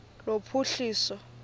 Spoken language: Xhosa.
lophuhliso